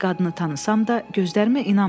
Qadını tanımasam da, gözlərimə inanmadım.